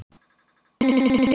Jónas Rúnar.